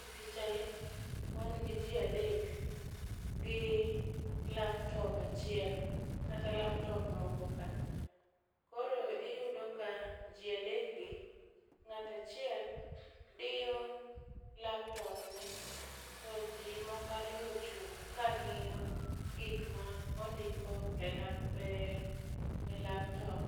E picha ni wan gi jii adek gi laptop achiel kata laptop moko ka. Koro iyudo ka jii adek gi ng'ata chiel diyo laptop ne to jii moko ariyo ochung' kang'iyo gik ma ondiko e lap e laptop.